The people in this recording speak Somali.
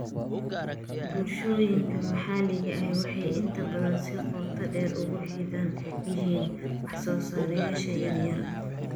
Bulshooyinka maxalliga ahi waxay inta badan si qoto dheer ugu xidhan yihiin wax soosaarayaasha yaryar.